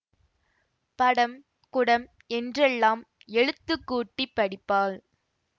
படம் குடம் என்றெல்லாம் எழுத்துக் கூட்டி படிப்பாள்